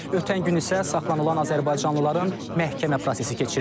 Ötən gün isə saxlanılan azərbaycanlıların məhkəmə prosesi keçirilib.